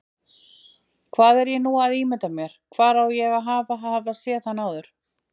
Hvað er ég núna að ímynda mér, hvar á ég að hafa séð hann áður?